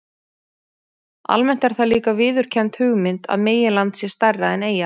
Almennt er það líka viðurkennd hugmynd að meginland sé stærra en eyja.